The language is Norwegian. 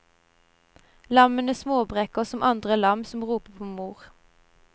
Lammene småbreker som andre lam som roper på mor.